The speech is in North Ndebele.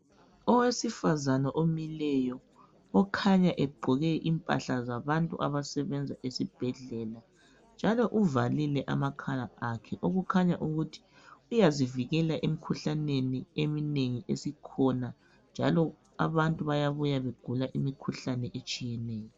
Owesifazana omileyo okhanya egqoke imphahla zabantu abasebenza esibhedlela. Njalo uvalile amakhala akhe okukhanya ukuthi uyazivikela emikhuhlaneni eminengi esikhona, njalo abantu bayabuya begula imikhuhlane etshiyeneyo .